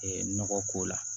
nɔgɔ ko la